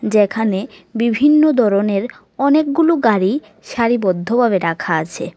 এখানে বিভিন্ন ধরনের অনেকগুলো গাড়ি সারিবদ্ধভাবে রাখা আছে।